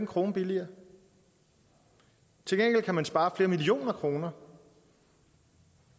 krone billigere til gengæld kan man spare flere millioner kroner